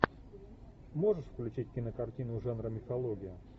можешь включить кинокартину жанра мифология